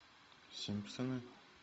симпсоны